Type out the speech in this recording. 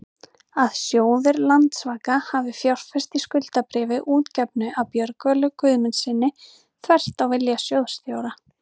að sjóður Landsvaka hafi fjárfest í skuldabréfi útgefnu af Björgólfi Guðmundssyni, þvert á vilja sjóðsstjóra?